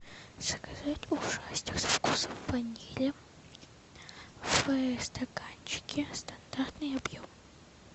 заказать ушастик со вкусом ванили в стаканчике стандартный объем